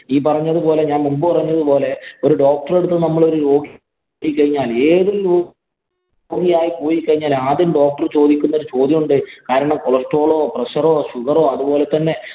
ഈ പറഞ്ഞത് പോലെ ഞാന്‍ മുമ്പ് പറഞ്ഞത് പോലെ ഒരു doctor ഉടെ അടുത്ത് നമ്മള് ഒരു രോഗി ചെന്ന് കഴിഞ്ഞാല്‍ രോഗിയായി പോയി കഴിഞ്ഞാല്‍ ആദ്യ doctor ചോദിക്കുന്ന ഒരു ചോദ്യമുണ്ട്. കാരണം cholesterol ഓ, pressure ഓ, sugar ഓ അതുപോലെ തന്നെ